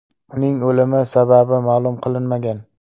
Uning o‘limi sababi ma’lum qilinmagan.